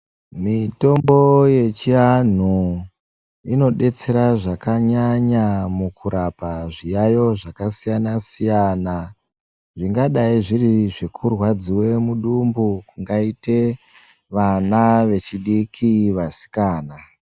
Mitombo yechianhu inodetsera zvakanyanya mukurapo zviyayo zvakasiyana siyana zvingadai zviri zvekurwadziwa mudumbu kungaite vana vechidiki vasikana.